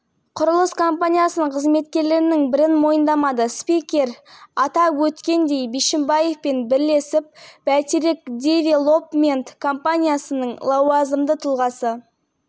қылмыстық жауапкершілікке тартылды олардың арасында басқарма төрағасы жақсыбаев оның орынбасары якупов құрылымдық бөлімшелердің басшылары айтымбетов